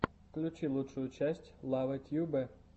включи лучшую часть лавэ тьюбэ